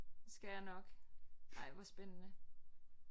Det skal jeg nok ej hvor spændende